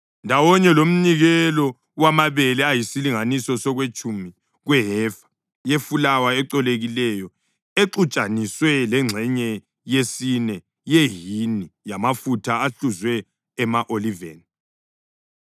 ndawonye lomnikelo wamabele ayisilinganiso sokwetshumi kwehefa yefulawa ecolekileyo exutshaniswe lengxenye yesine yehini yamafutha ahluzwe ema-oliveni.